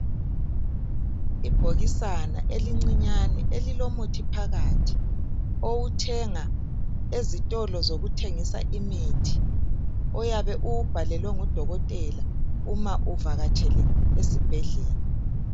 Ibhokisana elincinyane elilomuthi phakathi. Owuthenga ezitolo zokuthengisa imithi. Oyabe uwubhalelwe ngudokotela uma evakatshele esibhedlela.